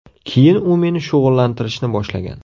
Keyin u meni shug‘ullantirishni boshlagan”.